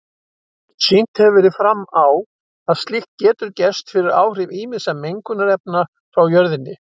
Sýnt hefur verið fram á að slíkt getur gerst fyrir áhrif ýmissa mengunarefna frá jörðinni.